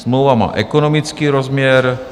Smlouva má ekonomický rozměr.